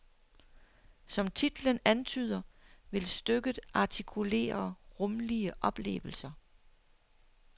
Som titlen antyder, vil stykket artikulere rumlige oplevelser.